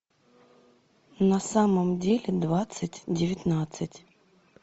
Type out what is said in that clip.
на самом деле двадцать девятнадцать